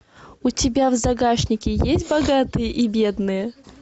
у тебя в загашнике есть богатые и бедные